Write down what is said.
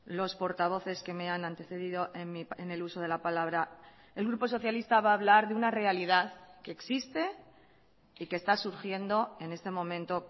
los portavoces que me han antecedido en el uso de la palabra el grupo socialista va a hablar de una realidad que existe y que está surgiendo en este momento